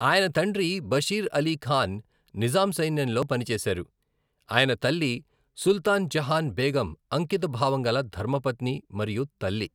ఆయన తండ్రి బషీర్ అలీ ఖాన్ నిజాం సైన్యంలో పనిచేశారు, అయిన తల్లి సుల్తాన్ జహాన్ బేగం అంకిత భావంగల ధర్మపత్ని మరియు తల్లి.